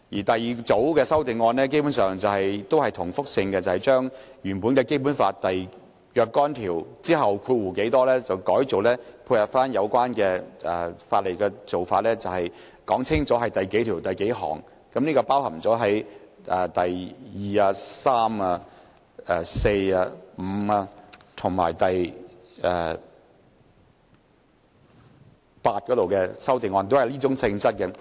第二組修訂基本上是重複的，將原本《基本法》第幾幾條的提述，改為配合有關法例所採用的格式，清楚說明是第幾條第幾項，第二、三、四、五及八項修訂都屬於這種性質。